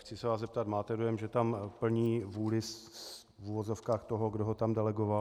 Chci se vás zeptat: Máte dojem, že tam plní vůli v uvozovkách toho, kdo ho tam delegoval?